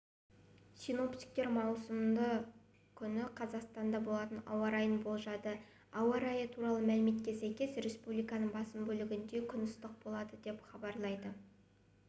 синоптиктер маусымның күні қазақстанда болатын ауа райын болжады ауа райы туралы мәліметке сәйкес республиканың басым бөлігінде күн ыстық болады деп хабарлайды